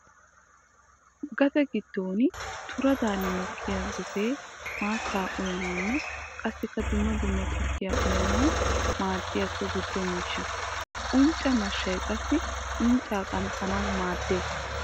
Gade giddon turaddanni mokkiya gosee maatta uyanawunne qassikka dumma dumma tukkiya uyanawu maadiya so giddo miishsha. Uncca mashshay qassi uncca qanxxanawu maaddees.